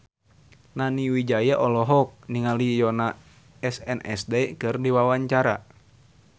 Nani Wijaya olohok ningali Yoona SNSD keur diwawancara